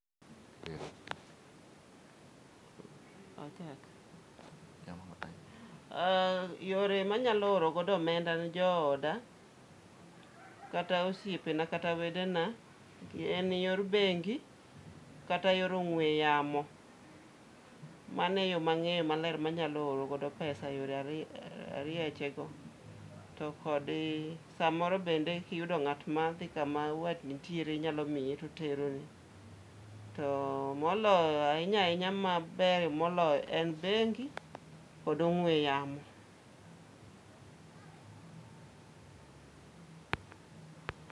Yore manyalo oro godo omenda ne jooda, kata osiepe na, kata wedena, en yor bengi kata yor ong'we yamo. Mano e yo mang'eyo maler manyalo oro godo pesa yore ariyo arieche go. To kod, samoro bende kiyudo ng'at ma dhi kama wat nitiere, inyalo mie, toteroni. To moloyo ahinya ahinya maber moloyo, en bengi kod ong'we yamo.